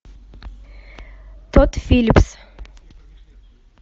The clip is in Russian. тодд филлипс